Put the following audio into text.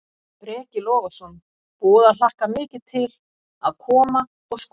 Breki Logason: Búið að hlakka mikið til að koma og, og skoða?